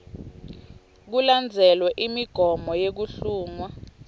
kulandzelwe imigomo yekuhlungwa